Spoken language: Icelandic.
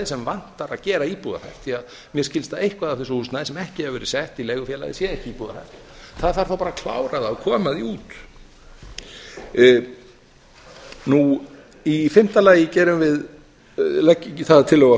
sem vantar að gera íbúðarhæft því að mér skilst að eitthvað af þessu húsnæði sem ekki hefur verið sett í leigufélagið sé ekki íbúðarhæft það þarf þá bara að klára það og koma því út nú í fimmta lagi gerum við það að tillögu